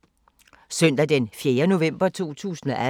Søndag d. 4. november 2018